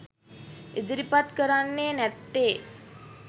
ඉදිරිපත් කරන්නේ නැත්තෙ?